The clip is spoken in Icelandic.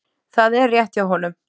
Það er rétt hjá honum.